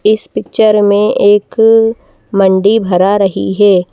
इस पिक्चर में एक मंडी भरा रही है।